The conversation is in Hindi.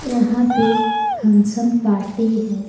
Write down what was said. यहां पे फंक्शन पार्टी है।